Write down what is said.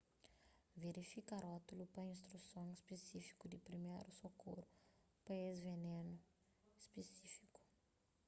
verifika rótulu pa instruson spisífiku di priméru sokoru pa es venenu spisífiku